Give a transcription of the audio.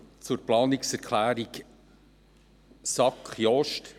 Zur Planungserklärung SAK, Jost: